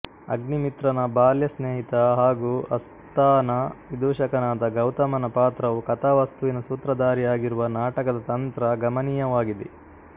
ಅಗ್ನಿಮಿತ್ರನ ಬಾಲ್ಯ ಸ್ನೇಹಿತ ಹಾಗೂ ಅಸ್ಥಾನ ವಿದೂಷಕನಾದ ಗೌತಮನ ಪಾತ್ರವು ಕಥಾವಸ್ತುವಿನ ಸೂತ್ರಧಾರಿಯಾಗಿರುವ ನಾಟಕದ ತಂತ್ರ ಗಮನೀಯವಾಗಿದೆ